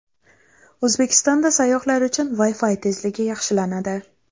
O‘zbekistonda sayyohlar uchun Wi-Fi tezligi yaxshilanadi.